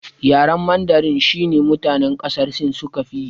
Yaren mandarin shine mutane ƙasar sin suka fiyi